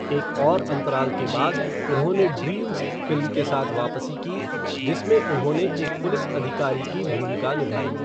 एक और अंतराल के बाद, उन्होंने ड्रीम्स फ़िल्म के साथ वापसी की, जिसमें उन्होंने एक पुलिस अधिकारी की भूमिका निभाई।